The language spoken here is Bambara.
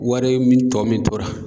Wari min tɔ min tora